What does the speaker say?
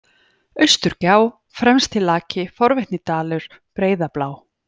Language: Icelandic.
Austurgjá, Fremstilaki, Forvitnisdalur, Breiðablá